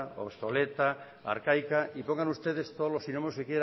obsoleta arcaica y pongan ustedes todos los sinónimos que